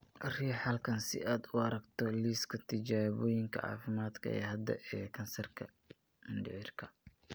Riix halkan si aad u aragto liiska tijaabooyinka caafimaad ee hadda ee kansarka mindhicirka.